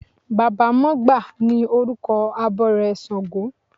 Baba mọgbà ni orúkọ abọrẹ̀ ṣàngó.